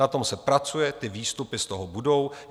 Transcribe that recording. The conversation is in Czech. Na tom se pracuje, ty výstupy z toho budou.